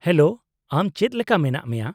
-Hello, ᱟᱢ ᱪᱮᱫ ᱞᱮᱠᱟ ᱢᱮᱱᱟᱜ ᱢᱮᱭᱟ ?